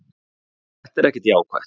Þetta er ekkert jákvætt.